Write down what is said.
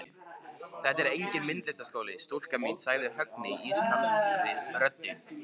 Þetta er enginn myndlistarskóli, stúlka mín sagði Högni ískaldri röddu.